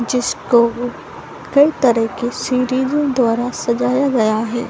जिस को कई तरह की सीरीजो द्वारा सजाया गया है।